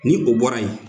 Ni o bɔra yen